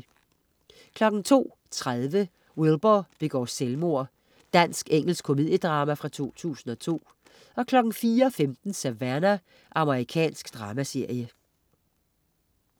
02.30 Wilbur begår selvmord. Dansk-engelsk komediedrama fra 2002 04.15 Savannah. Amerikansk dramaserie